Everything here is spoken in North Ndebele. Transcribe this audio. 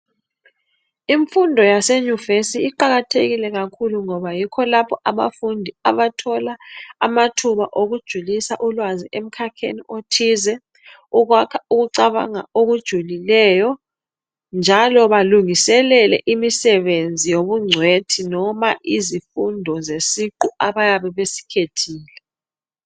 Imfundo yasenyuvesi iqakathekile kakhulu ngoba yikho lapho abafundi abathola amathuba okujulisa ulwazi emkhakheni othize ukuyakha ukucabanga okujulileyo njalo balungiselele imisebenzi yobungcwethi noma izifundo zesiqu abayabe besikhathile.